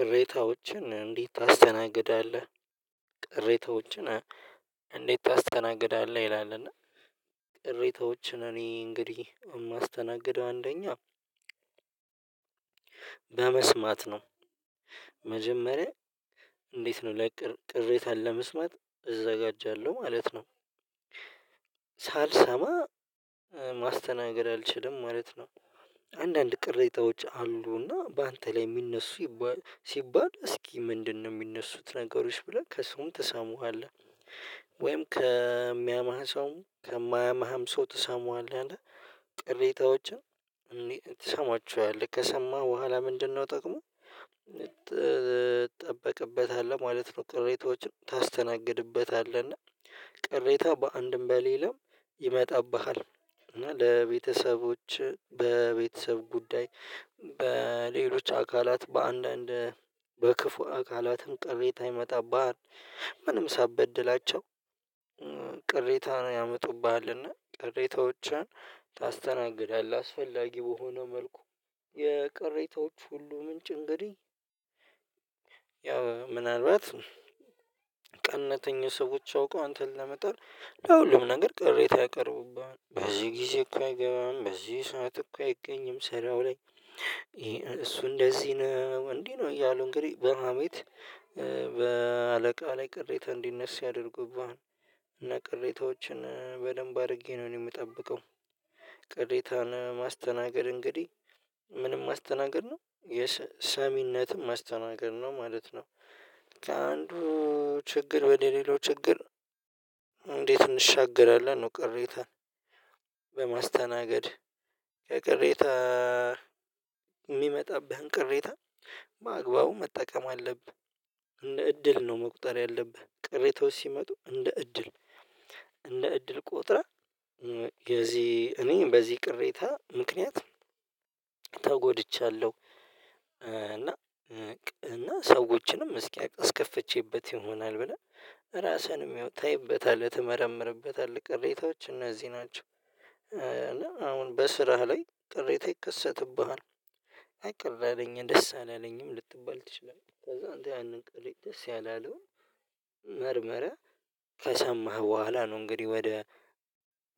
ቅሬታዎችን እንዴት ታስተናግዳለህ? ቅሬታዎችን እንዴት ታስተናግዳለህ? ይላል እና ቅሬታዎችን እኔ እንግዲህ የማስተናግደው አንደኛ በመስማት ነው። መጀመሪያ እንዴት ነው ላይ ቅሬታን ለመስማት እዘጋጃለሁ ማለት ነው። ሳልሰማ ማስተናገድ አልችልም ማለት ነው። አንዳንድ ቅሬታዎች አሉና በአንተ ላይ የሚነሱ ሲባል እስኪ ምንድነው የሚነሱት ነገሮች ብለህ ከሰውም ተሳሙሃል? ወይም ከሚያማህ ሰው ከማያማህም ሰው ትሰሙሃለህ አለ። ቅሬታዎችን ከሰማህ በኋላ ምንድነው ጥቅመ እጠበቅበታለሁ ማለት ነው። ቅሬታዎችን ታስተናግድበታለህ እና ቅሬታ በአንድም በሌላም ይመጣብሃል። እና ለቤተሰቦች በቤተሰብ ጉዳይ በሌሎች አካላት በአንዳንድ በክፉ አካላትም ቅሬታ ይመጣብሃል። ምንም ሳበድላቸው ቅሬታን ያመጡብሃልና ቅሬታዎችን ታስተናግዳለህ። አስፈላጊ በሆነ መልኩ የቅሬታዎቹ ሁሉ ምንጭ እንግዲህ። ያው ምናልባት ቀነተኛ ሰዎች አውቀው አንተን ለመጣል ለሁሉም ነገር ቅሬታ ያቀርቡብናል በዚህ ጊዜ እኮ አይገባም በዚህ ሰዓት እኮ አይገኝም ስራው ላይ። እሱ እንደዚህ ነው እንዲህ ነው እያሉ እንግዲህ በሀሜት በአለቃ ላይ ቅሬታ እንዲነሳ ያደርጉብሃል። እና ቅሬታዎችን በደንብ አድርጌ ነው የምጠብቀው። ቅሬታን ማስተናገድ እንግዲህ ምንም ማስተናገድ ነው የሰሚነትም ማስተናገድ ነው ማለት ነው። ከአንዱ ችግር ወደ ሌላው ችግር? እንዴት እንሻገራለን ነው ቅሬታን በማስተናገድ ከቅሬታ የሚመጣብህን ቅሬታ በግባቡ መጠቀም አለብህ እንደ እድል ነው። መቁጠር ያለብህ ቅሬታዎች ሲመጡ እንደ እድል እንደ እድል ቆጥረህ የዚህ እኔ በዚህ ቅሬታ ምክንያት ተጎድቻለሁ። እና እና ሰዎችንም እስኪ አስከፍቼበት ይሆናል ብለህ ራስህንም ታይበታለህ ትመረምርበታለህ ቅሬታዎች እነዚህ ናቸው። እና አሁን በስራህ ላይ ጥሬታ ይከሰትብሃል። አቀረረኝ ደስ አላለኝም ልትባል ትችላለህ። ከዛ አንተ ያንን ቀልድ ደስ ያለ አለው። መርመረ ከሰማህ በኋላ ነው እንግዲህ ወደ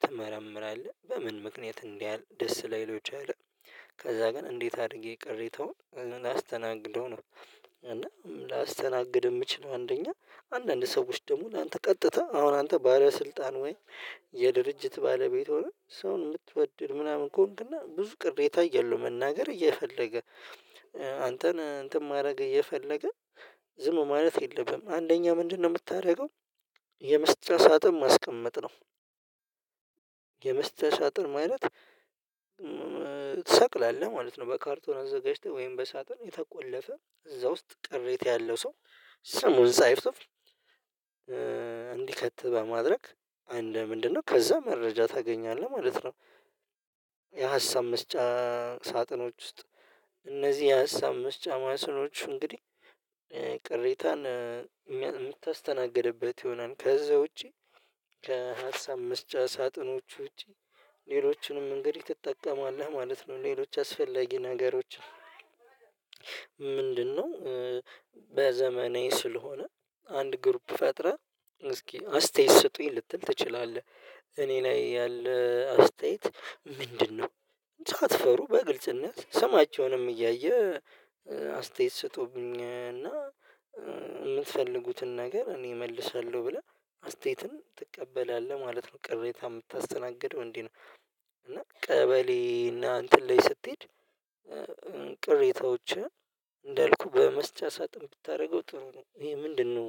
ትመረምራለህ በምን ምክንያት እንዲህ ያህል ደስ ላይለው ይችላል። ከዛ ግን እንዴት አድርጌ ቅሬታውን ላስተናግደው ነው? እና ላስተናግድ የምችለው አንደኛ አንዳንድ ሰዎች ደግሞ አንተ ቀጥተህ አሁን አንተ ባለስልጣን ወይ የድርጅት ባለቤት ሆነህ ሰውን የምትወድ ምናምን ከሆንክና ብዙ ቅሬታ የለውም መናገር እየፈለገ አንተን እንትን ማድረግ እየፈለገ ዝሙ ማለት የለብህም አንደኛ ምንድነው የምታደርገው? የመስጫ ሳጥም ማስቀመጥ ነው። የመስጫ ሳጥን ማለት ትሰቅላለህ ማለት ነው። በካርቶና እዛ ገዢተህ ወይም በሳጥን የተቆለፈ እዛ ውስጥ ቅሬታ ያለው ሰው ስሙን ሳይፍ እንዲከት በማድረግ። ምንድነው ከዛ መረጃ ታገኛለህ ማለት ነው። የሀሳብ መስጫ ሳጥኖች ውስጥ እነዚህ የሀሳብ መስጫ ማሰሎች እንግዲህ ቅሬታን የምታስተናግድበት ይሆናል። ከዛ ውጪ ከሀሳብ መስጫ ሳጥኖች ውጪ ሌሎችንም እንግዲህ ትጠቀማለህ ማለት ነው። ሌሎች ያስፈለጊ ነገሮች። ምንድነው? በዘመናዊ ስለሆነ አንድ ግሩፕ ፈጥረህ እስኪ አስተያየት ስጡኝ ልትል ትችላለህ። እኔ ላይ ያለ አስተያየት ምንድነው? ሳትፈሩ በግልጽነት ስማቸውንም እያየ አስተያየት ስጡብኝ እና የምትፈልጉትን ነገር እኔ እመልሳለሁ ብለህ አስተያየትን ትቀበላለህ ማለት ነው። ቅሬታ የምታስተናግደው እንዴ ነው? እና ቀበሌ እና እንትን ላይ ስትሄድ ቅሬታዎችን እንዳልኩህ በመስጫ ሳጥን ብታደርገው ጥሩ ነው። ይሄ ምንድነው?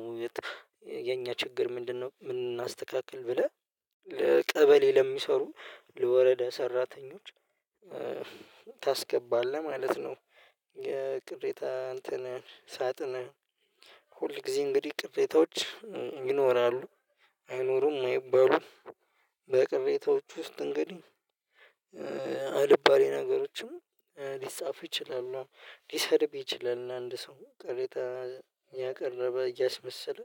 የኛ ችግር ምንድነው? ምን እናስተካክል ብለህ ለቀበሌ ለሚሰሩ ለወረዳ ሰራተኞች ታስገባለህ ማለት ነው። የቅሬታ እንትን ሳጥን ሁል ጊዜ እንግዲህ ቅሬታዎች ይኖራሉ አይኖሩም አይባሉም። በቅሬታዎች ውስጥ እንግዲህ አልባሌ ነገሮችም ሊጻፍ ይችላል። ሊሰድብ ይችላል አንድ ሰው ቅሬታ ያቀረበ እያስመሰለ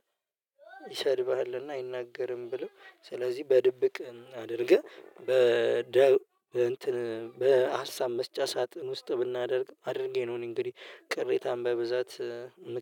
ይሰድብሃልና አይናገርም ብለው ስለዚህ በድብቅ አድርገህ በደብ በ እንትን በሀሳብ መስጫ ሳጥን ውስጥ ብናደርግ አድርጌ ነው እንግዲህ። ቅሬታን በብዛት